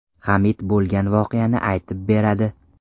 Hamid bo‘lgan voqeani aytib beradi.